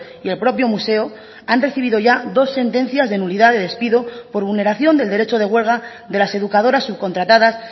y el propio museo han recibido ya dos sentencias de nulidad de despido por vulneración del derecho de huelga de las educadoras subcontratadas